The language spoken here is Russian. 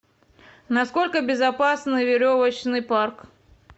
насколько безопасный веревочный парк